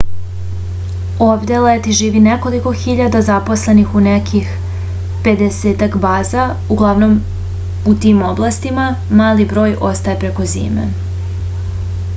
ovde leti živi nekoliko hiljada zaposlenih u nekih pedesetak baza uglavnom u tim oblastima mali broj ostaje preko zime